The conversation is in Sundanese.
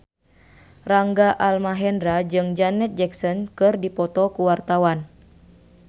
Rangga Almahendra jeung Janet Jackson keur dipoto ku wartawan